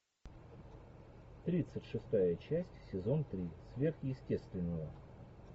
тридцать шестая часть сезон три сверхъестественного